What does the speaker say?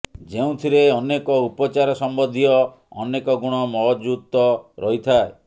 ଯେଉଁଥିରେ ଅନେକ ଉପଚାର ସମ୍ୱନ୍ଧୀୟ ଅନେକ ଗୁଣ ମହଜୁତ ରହିଥାଏ